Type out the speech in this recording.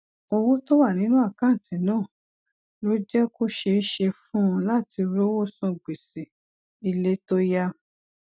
owó tó wà nínú àkáǹtì náà ló jé kó ṣeé ṣe fún un láti rówó san gbèsè ilé tó yá